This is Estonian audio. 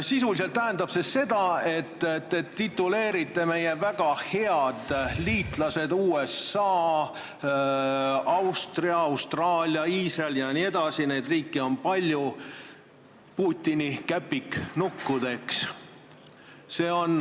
Sisuliselt tähendab see seda, et te tituleerite meie väga head liitlased – USA, Austria, Austraalia, Iisrael jne, neid riike on palju – Putini käpiknukkudeks.